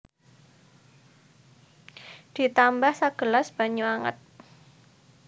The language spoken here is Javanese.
Ditambah sagelas banyu anget